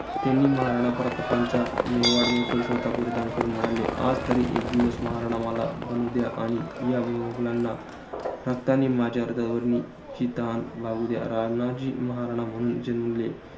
त्यांनी महाराजांचा मेवाड मुकुट स्वतः परिधान करून म्हणाले. आजतरी एक दिवस महाराणा मला बनूद्या आणि या मुघलांना, रक्तानी माझ्या हृदयाची तहान भागुद्या. राणाजी, महाराणा म्हणून जन्मले